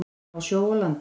Á sjó og landi.